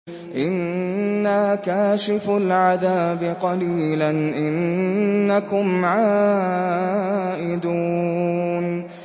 إِنَّا كَاشِفُو الْعَذَابِ قَلِيلًا ۚ إِنَّكُمْ عَائِدُونَ